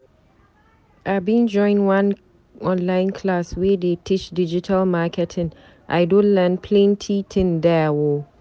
I bin join one online class wey dey teach digital marketing, I don learn plenty tin there o.